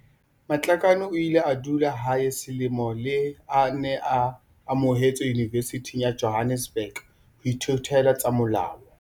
Matlakane o ile a dula hae selemo leha a ne a amohetswe Yunivesithing ya Johannesburg ho ithutela tsa molao.